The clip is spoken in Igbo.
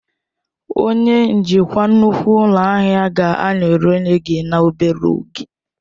Onye njikwa nnukwu ụlọ ahịa ga-anọnyere gị n'obere oge.